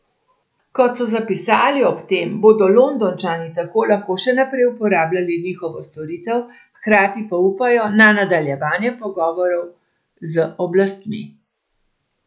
Kot so zapisali ob tem, bodo Londončani tako lahko še naprej uporabljali njihovo storitev, hkrati pa upajo na nadaljevanje pogovorov z oblastmi.